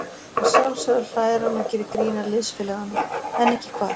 Að sjálfsögðu hlær hann og gerir grín að liðsfélaganum, en ekki hvað?